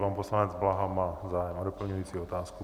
Pan poslanec Blaha má zájem o doplňující otázku.